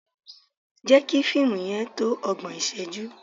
Jẹ́ kí fíìmù yẹn tó ọgbọ̀n ìṣẹ́jú!